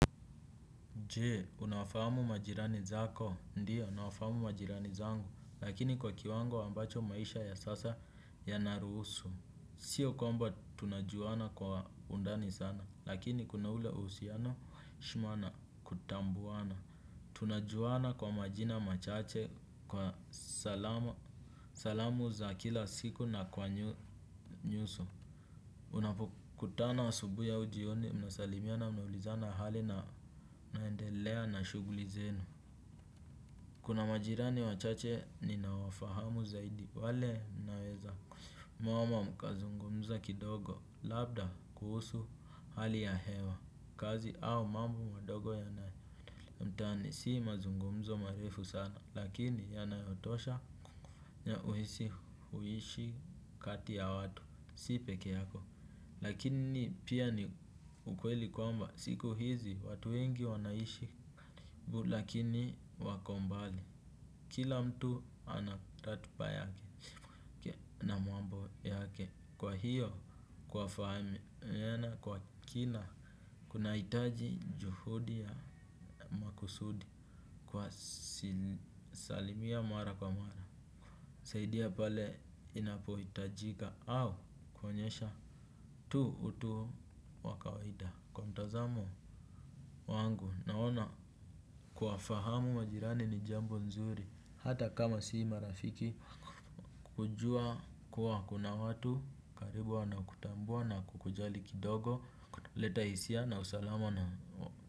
Je, unawafamu majirani zako, ndiyo, nawafahamu majirani zangu, lakini kwa kiwango ambacho maisha ya sasa ya naruhusu. Sio komba tunajuana kwa undani sana, lakini kuna ule uhusiano, shuma na tambuana. Tunajuana kwa majina machache, kwa salamu za kila siku na kwa nyusu. Unapokutana asubuhi au jioni, mnasalimiana, mnaulizana hali na naendelea na shuguli zenu. Kuna majirani wachache ninawafahamu zaidi, wale naweza. Mwama mkazungumza kidogo, labda kuhusu hali ya hewa, kazi au mambo mandogo yanayoendelea mtaani si mazungumzo marifu sana, lakini yanayotosha ya uhisi huishi kati ya watu, sipe keyako. Lakini pia ni ukweli kwamba, siku hizi watu wengi wanaishi karibu lakini wako mbali. Kila mtu ana ratiba yake na mambo yake kwa hiyo kwa fahami mwena kwa kina. Kunahitaji juhudi ya kusudi kwa si salimia mara kwa mara. Saidia pale inapohitajika au kuonyesha tu utu wa kawida kwa mtazamo wangu naona. Kuwafahamu majirani ni jambo nzuri hata kama si marafiki. Kujua kuwa kuna watu karibu wanakutambua na kukujali kidogo. Leta hisia na usalamu na.